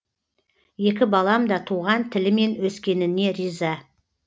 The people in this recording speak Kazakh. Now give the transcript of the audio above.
екі балам да туған тілімен өскеніне риза